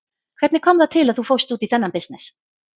Hvernig kom það til að þú fórst út í þennan bisness?